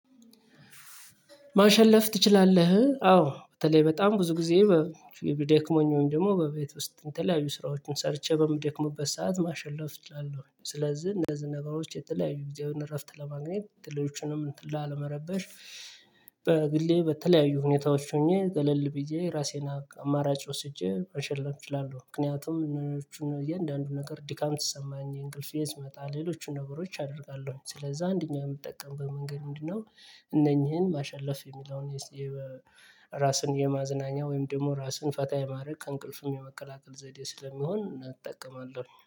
ማሸለፍ ትችላለህ አዎ በተለይ በጣም ብዙ ጊዜ ደክሞኝ ወይም ደግሞ በቤት ውስጥ የተለያዩ ስራዎችን ሰርቼ በምደክምበት ሰዓት ማሸለፍ እችላለሁ። ስለዚህ እነዚህ ነገሮች የተለያዩ ጊዜውን እረፍት ለማግኘት ሌሎቹንም እንትን ላለመረበሽ። በግሌ በተለያዩ ሁኔታዎች ሆኜ ገለል ብዬ ራሴን አማራጭ ወስጄ ማሸለም እችላለሁ። ምክንያቱም እኔኖቹን እያንዳንዱ ነገር ድካም ሲሰማኝ እንቅልፌ ሲመጣ ሌሎቹን ነገሮች አደርጋለሁ። ስለዛ አንደኛ የምጠቀምበት መንገድ ምንድነው? እነኚህን ማሸለፍ የሚለውን የራስን የማዝናኛ ወይም ደግሞ ራስን ፈታ የማድረግ ከእንቅልፍም የመቀላቀል ዘዴ ስለሚሆን እጠቀማለሁ